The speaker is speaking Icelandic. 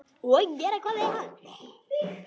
Og gera hvað við hann?